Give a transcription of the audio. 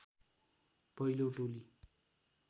पहिलो टोली